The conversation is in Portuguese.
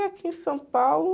E aqui em São Paulo...